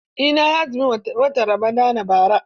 Eh, na yi azumin watan Ramadan bara.